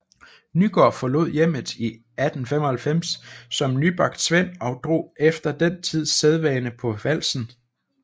Nygaard forlod hjemmet i 1895 som nybagt svend og drog efter den tids sædvane på valsen